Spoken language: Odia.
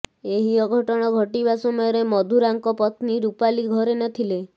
ଏହି ଅଘଟଣ ଘଟିବା ସମୟରେ ମଧୁରାଙ୍କ ପତ୍ନୀ ରୂପାଲି ଘରେ ନଥିଲେ